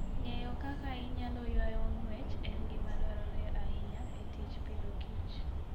Ng'eyo kaka inyalo ywayo ong'wech en gima dwarore ahinya e tij pidhoKich.